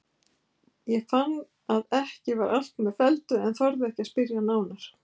Ég fann að ekki var allt með felldu en þorði ekki að spyrja nánar.